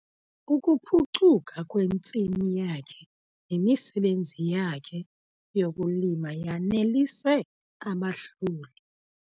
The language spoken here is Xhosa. Ukuphucuka kwentsimi yakhe nemisebenzi yakhe yokulima yanelise abahloli.